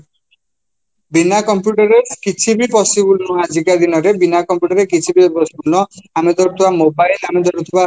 ବିନା computer ରେ କିଛିବି possible ନୁହଁ ଆଜି କା ଦିନରେ ବିନା computer ରେ କିଛିବି possible ନୁହଁ ଆମେ ଧରୁଥିବା mobile ଆମେ ଧରୁଥିବା